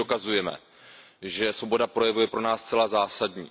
My tím dokazujeme, že svoboda projevu je pro nás zcela zásadní.